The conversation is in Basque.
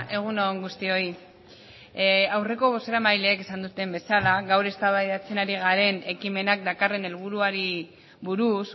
egun on guztioi aurreko bozeramaileek esan duten bezala gaur eztabaidatzen ari garen ekimenak dakarren helburuari buruz